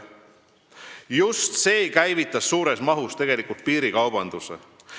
Just see käivitas tegelikult piirikaubanduse suures mahus.